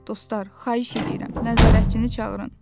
Dostlar, xahiş edirəm nəzarətçini çağırın.